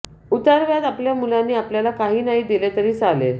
उतारवयात आपल्या मुलांनी आपल्याला काही नाही दिले तरी चालेल